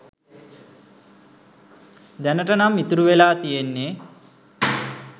දැනට නම් ඉතුරු වෙලා තියෙන්නෙ